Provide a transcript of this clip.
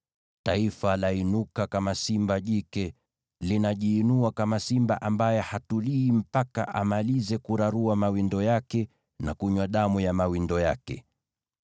Taifa lainuka kama simba jike; linajiinua kama simba ambaye hatulii mpaka amalize kurarua mawindo yake na kunywa damu ya mawindo yake.”